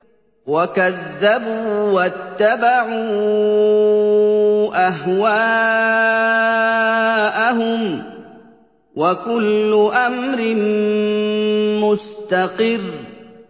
وَكَذَّبُوا وَاتَّبَعُوا أَهْوَاءَهُمْ ۚ وَكُلُّ أَمْرٍ مُّسْتَقِرٌّ